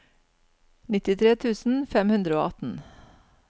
nittitre tusen fem hundre og atten